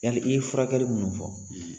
Yali i ye furakɛli munnu fɔ